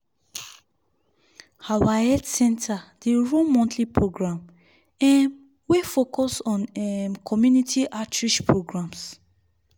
our health center dey run monthly program um wey focus on um community outreach programs.